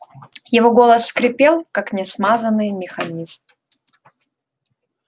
его голос скрипел как несмазанный механизм